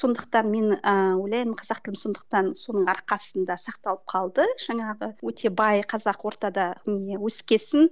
сондықтан мен ыыы ойлаймын қазақ тілім сондықтан соның арқасында сақталып қалды жаңағы өте бай қазақ ортада өскен соң